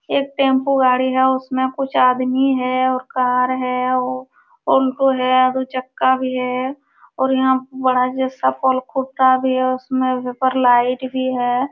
एक टेम्पू गाड़ी है। उसमे कुछ आदमी है और कार है। उनको है। दो चक्का भी है और यहाँ पे बड़ा सा पोल खुठा भी है। उसके ऊपर लाइट भी है।